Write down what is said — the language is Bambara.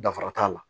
Dafara t'a la